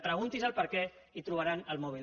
preguntis el perquè i trobaran el mòbil